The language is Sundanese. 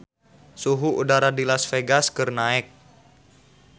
Suhu udara di Las Vegas keur naek